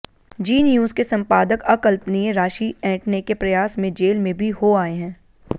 जी News के संपादक अकल्पनीय राशि ऐंठने के प्रयास में जेल भी हो आए हैं